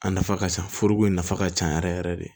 A nafa ka ca foroko in nafa ka ca yɛrɛ yɛrɛ yɛrɛ de